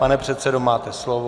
Pane předsedo, máte slovo.